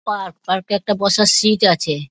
park park -এ একটা বসার সিট আছে |